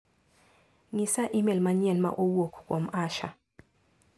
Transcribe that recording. Ng'isaimel manyien ma owuok kuom Asha.